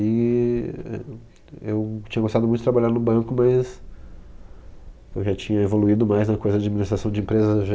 E ... Eu tinha gostado muito de trabalhar no banco, mas eu já tinha evoluído mais na coisa de administração de empresas. E já